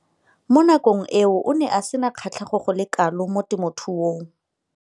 Mo nakong eo o ne a sena kgatlhego go le kalo mo temothuong.